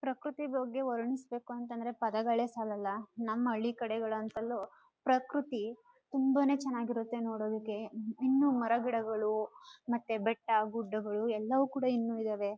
ಪ್ರಕೃತಿ ಬಗ್ಗೆ ವರ್ಣಿಸಬೇಕು ಅಂತ ಅಂದ್ರೆ ಪಧಗಳೇ ಸಾಲಲ ನಮ್ಮ ಹಳ್ಳಿ ಕಡೆಗಳಂತಲೂ ಪ್ರಕೃತಿ ತುಂಬಾನೇ ಚೆನ್ನಾಗಿರುತ್ತೆ ನೋಡೊದಕೆ ಇನ್ನು ಮರ ಗಿಡಗಳು ಮತ್ತೆ ಬೆಟ್ಟ ಗುಡ್ಡಗಳು ಎಲ್ಲವೂ ಕೂಡ ಇನ್ನು ಇದಾವೆ.